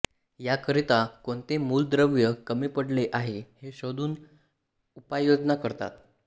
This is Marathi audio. याकरिता कोणते मूलद्रव्य कमी पडले आहे हे शोधून उपाययोजना करतात